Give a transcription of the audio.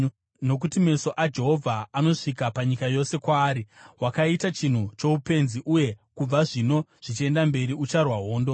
Nokuti meso aJehovha anosvika panyika yose kwaari, wakaita chinhu choupenzi uye kubva zvino zvichienda mberi ucharwa hondo.”